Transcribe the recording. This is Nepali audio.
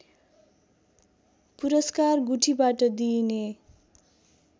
पुरस्कार गुठीबाट दिइने